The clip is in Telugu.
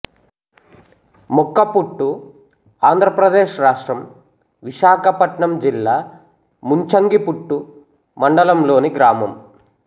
మొక్కపుట్టు ఆంధ్ర ప్రదేశ్ రాష్ట్రం విశాఖపట్నం జిల్లా ముంచంగిపుట్టు మండలం లోని గ్రామం